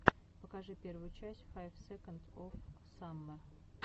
покажи первую часть файв секондс оф саммер